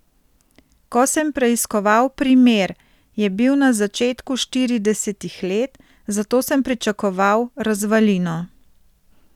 Ko sem preiskoval primer, je bil na začetku štiridesetih let, zato sem pričakoval razvalino.